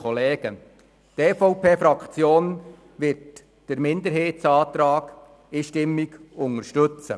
Die EVP-Fraktion wird den Minderheitsantrag einstimmig unterstützen.